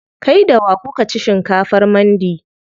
Kai da wa kuka ci shinkafar mandi?